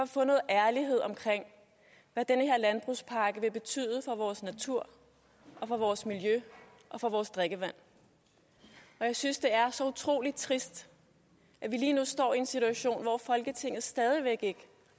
få noget ærlighed omkring hvad den her landbrugspakke vil betyde for vores natur for vores miljø og for vores drikkevand og jeg synes det er så utrolig trist at vi lige nu står i en situation hvor folketinget stadig væk ikke